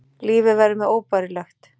Lífið verður mér óbærilegt.